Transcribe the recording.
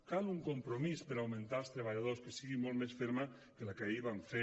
cal un compromís per augmentar els treballadors que sigui molt més ferm que el que ahir van fer